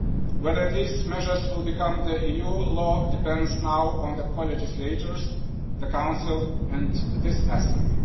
Whether these measures will become EU law depends now on the co legislators the Council and this Assembly.